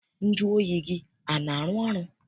Nju oyi gị ana arụ ọrụ?